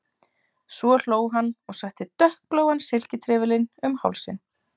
Svo hló hann og setti dökkbláan silkitrefilinn um hálsinn.